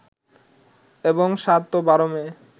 এবং ৭ ও ১২ মে